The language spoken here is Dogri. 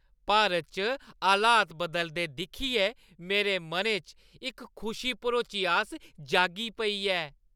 भारत च हालात बदलदे दिक्खियै मेरे मनै च इक खुशी भरोची आस जागी पेई ऐ।